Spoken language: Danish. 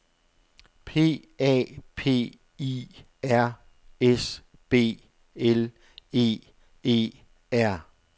P A P I R S B L E E R